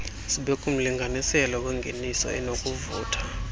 zibekumlinganiselo wengeniso enokuvutha